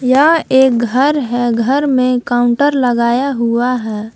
यह एक घर है घर में काउंटर लगाया हुआ है।